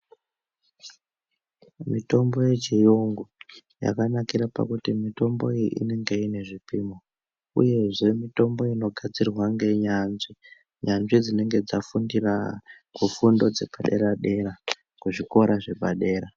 Mitombo yechiyungu yakanakira pakuti mitombo inenge ine zvipimo uyezve mitombo inogadzirwa ngenyanzvi nyanzvi dzinenge dzafundira kufundo dzepadera dera kuzvikora zvepadera.